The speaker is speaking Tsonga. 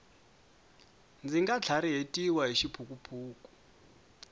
ndzi nga tlharihetiwi hi xiphukuphuku